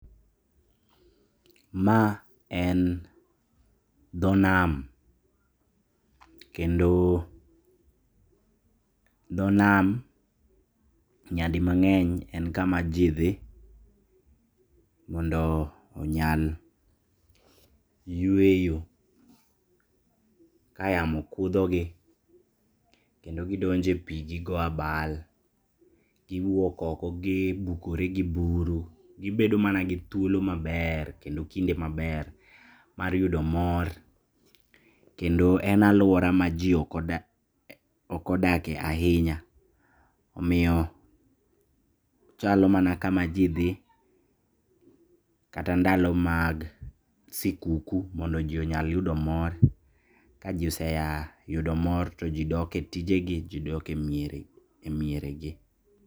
Ma en dho nam, kendo dho nam nyadi mang'eny en kama jii dhi mondo onyal yueyo ka yamo kudhogi kendo gidonje pii gigo abal giwuok oko gibukore gi buru, gibedo mana gi thuolo maber kendo kinde maber mar yudo mor, kendo en aluora ma jii okodake ahinya omiyo ochalo mana kama jii dhi kata ndalo mag sikuku mondo jii onyal yudo mor, ka jii oseya yudo mor to jii dok e tijegi, jii dok e mieregi.